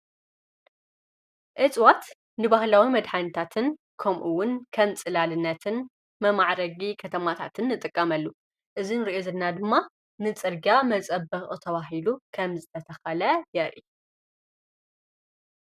እጽዋት ንባህላዊ መድኃንታትን ከምኡውን ከም ጽላልነትን መማዕረጊ ከተማታትን ንጥቀመሉ እዝን ርየዘና ድማ ንጽርጋ መጸበኽ ተብሂሉ ኸምፅተተኸለ የርኢ።